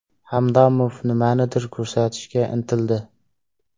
Hamdamov nimanidir ko‘rsatishga intildi.